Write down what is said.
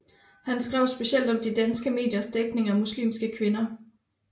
Han skrev speciale om de danske mediers dækning af muslimske kvinder